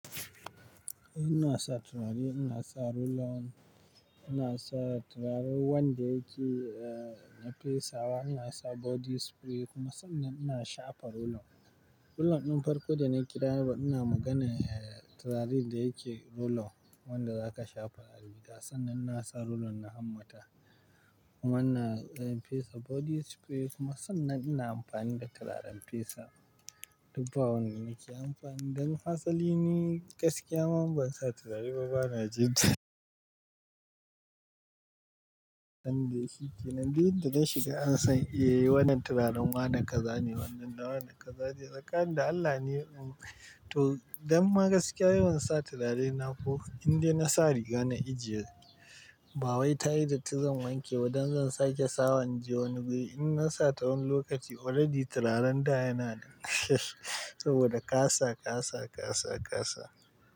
Ina sa turare, ina sa roll-on, ina sa turaren wanda yake, eh, na fesawa, ina sa body spray kuma sannan ina shafa roll-on. Roll-on ɗin farko da na kira ba ina magana, eh, turarin da yake roll-on wanda zaka shafa a rigar, sannan na sa roll-on na hammata. Kuma na, eh, fesa body spray kuma sannan ina amfani da turaren fesa. Dubba wanda nake amfani, dan asali ni gaskiya ma ban sa turare ba bana jin yanda yake kenan. Duk yan da na shiga an san, eh, wannan turaren wa na kaza ne wannan da wannan kaza ne. Tsakani da Allah ne, um, to dan magaskiya yawan sa turare na ko inda na sa riga na ijiye. Bawai tayi datti zan wanke wadan zan sake sawa in je wani guri. In na sa ta wani lokaci already turaren da yana saboda kasa, kasa, kasa, kasa.